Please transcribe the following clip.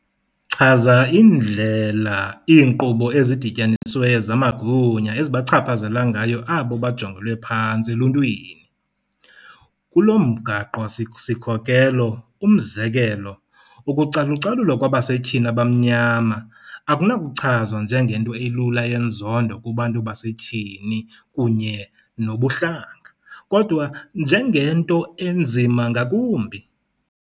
chaza indlela iinkqubo ezidityanisiweyo zamagunya ezibachaphazela ngayo abo bajongelwe phantsi eluntwini .. Kulo mgaqo-sikhokelo, umzekelo, ukucalucalulwa kwabasetyhini abamnyama akunakuchazwa njengento elula yenzondo kubantu basetyhini kunye nobuhlanga, kodwa njengento enzima ngakumbi.